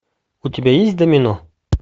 у тебя есть домино